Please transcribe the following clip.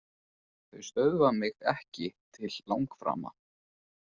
Þau stöðva mig ekki til langframa.